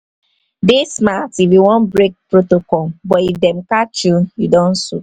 dey smart if you won break protocol but if dem catch you don soup